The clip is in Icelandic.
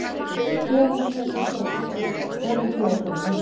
Þegar hann opnaði dyrnar að forstofunni var konan þegar komin inn.